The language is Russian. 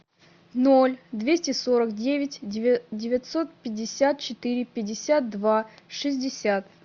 ноль двести сорок девять девятьсот пятьдесят четыре пятьдесят два шестьдесят